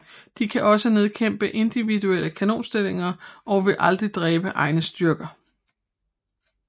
De kan også nedkæmpe individuelle kanonstillinger og vil aldrig dræbe egne styrker